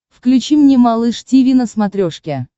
включи мне малыш тиви на смотрешке